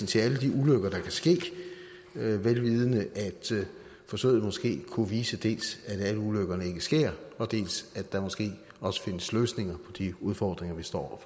til alle de ulykker der kan ske vel vidende at forsøget måske kunne vise dels at alle ulykkerne ikke sker dels at der måske også findes løsninger på de udfordringer vi står